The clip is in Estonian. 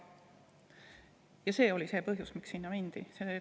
See oli see põhjus, miks mindi.